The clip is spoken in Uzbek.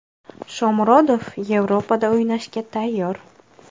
Shomurodov Yevropada o‘ynashga tayyor.